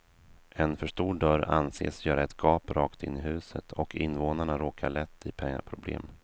En för stor dörr anses göra ett gap rakt in i huset och invånarna råkar lätt i pengaproblem.